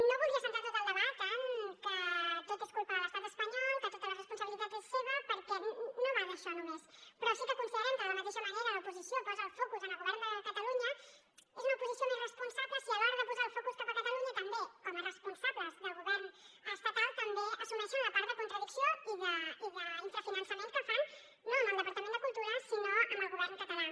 no voldria centrar tot el debat en que tot és culpa de l’estat espanyol que tota la responsabilitat és seva perquè no va d’això només però sí que considerem que de la mateixa manera que l’oposició posa el focus en el govern de catalunya és una oposició més responsable si a l’hora de posar el focus cap a catalunya també com a responsables del govern estatal assumeixen la part de contradicció i d’infrafinançament que fan no amb el departament de cultura sinó amb el govern català